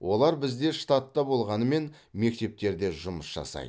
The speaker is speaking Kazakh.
олар бізде штатта болғанымен мектептерде жұмыс жасайды